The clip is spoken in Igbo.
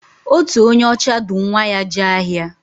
Otu onye ọcha du nwa ya jee ahịa.